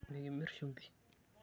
Mikimirr shumbi.